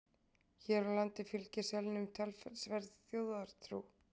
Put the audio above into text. hér á landi fylgir selnum talsverð þjóðtrú